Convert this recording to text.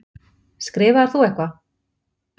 Skrifaðir þú eitthvað?